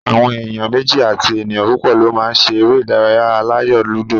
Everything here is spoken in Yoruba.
Àwọn èèyàn méjì àti ènìyàn púpò lo ma ṣe eré ìdárayá aláyò lúdò